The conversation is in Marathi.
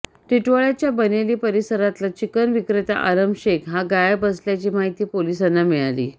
टिटवाळ्याच्या बनेली परिसरातला चिकन विक्रेता आलम शेख हा गायब असल्याची माहिती पोलिसांना मिळाली